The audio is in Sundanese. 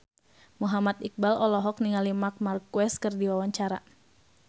Muhammad Iqbal olohok ningali Marc Marquez keur diwawancara